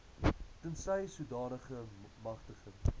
tensy sodanige magtiging